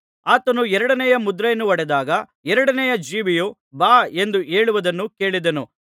ಆತನು ಎರಡನೆಯ ಮುದ್ರೆಯನ್ನು ಒಡೆದಾಗ ಎರಡನೆಯ ಜೀವಿಯು ಬಾ ಎಂದು ಹೇಳುವುದನ್ನು ಕೇಳಿದೆನು